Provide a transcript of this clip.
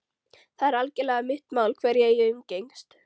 Það er algerlega mitt mál hverja ég umgengst.